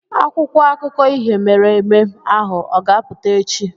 Akwụkwọ akụkọ ihe mere eme ahụ ọ ga-apụta echi?